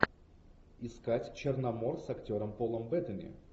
искать черномор с актером полом беттани